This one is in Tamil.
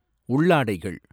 உள்ளாடைகள்